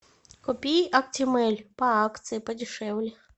купи актимель по акции подешевле